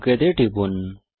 okay তে টিপুন